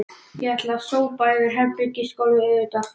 Ég ætla að sópa yfir herbergisgólfið auðvitað